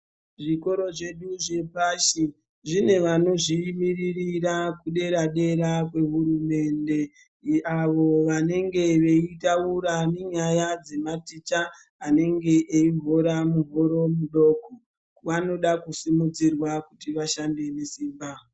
Zvikoro zvedu zvepashi zvine vanozvi mirira kudera dera kwe hurumende avo vanenge veitaura nenyaya dzema maticha anenge eyi hora mihoro mudoko vanoda ku kurudzirwa kuti vashande nesimba.